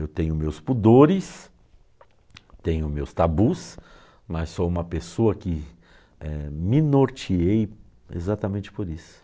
Eu tenho meus pudores, tenho meus tabus, mas sou uma pessoa que eh, me norteei exatamente por isso.